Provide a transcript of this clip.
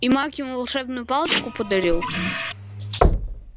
и маг ему волшебную палочку подарил